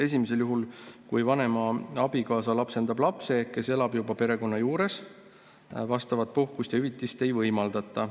Esimesel juhul, kui vanema abikaasa lapsendab lapse, kes elab juba perekonna juures, vastavat puhkust ja hüvitist ei võimaldata.